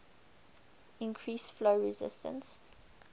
increase flow resistance